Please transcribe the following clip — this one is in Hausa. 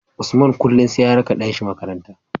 Usman kullun sai ya raka ɗan shi makaranta